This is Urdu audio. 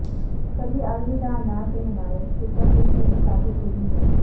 کبھی الوداع نہ کہنا ایک سپر ہٹ فلم ثابت ہوئی ہے